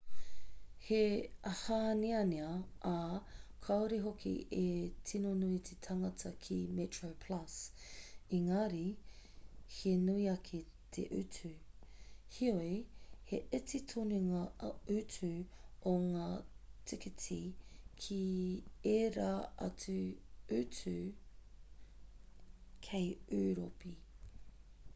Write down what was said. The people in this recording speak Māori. he hāneanea ā kāore hoki e tino nui te tāngata ki metroplus engari he nui ake te utu heoi he iti tonu ngā utu o ngā tīkiti ki ērā atu utu kei ūropi